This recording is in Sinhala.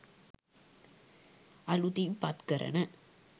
අලුතින් පත් කරන